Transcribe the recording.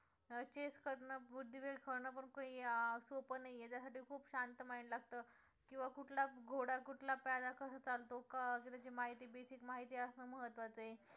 आणि chess खेळणं बुद्धिबळ खेळणं खूप सोपं नाहीये त्या साठी खूप शांत mind लागतं किंवा कुठला घोडा कुठला प्यादा कसा चालतो अं त्याची माहिती BASIC माहिती माहिती असणं महत्वाचं आहे